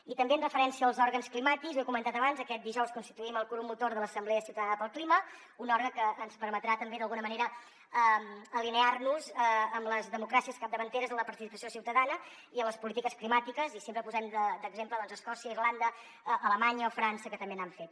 i també amb referència als òrgans climàtics ho he comentat abans aquest dijous constituïm el grup motor de l’assemblea ciutadana pel clima un òrgan que ens permetrà també d’alguna manera alinear nos amb les democràcies capdavanteres en la participació ciutadana i en les polítiques climàtiques i sempre posem d’exemple doncs escòcia irlanda alemanya o frança que també n’han fet